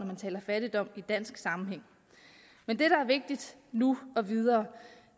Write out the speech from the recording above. fattigdom i dansk sammenhæng men det der er vigtigt nu og videre